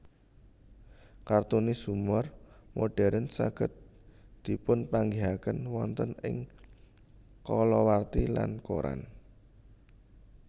Kartunis humor modern saged dipunpanggihaken wonten ing kalawarti lan koran